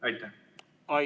Aitäh!